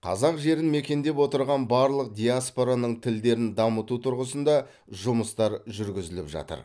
қазақ жерін мекендеп отырған барлық диаспораның тілдерін дамыту тұрғысында жұмыстар жүргізіліп жатыр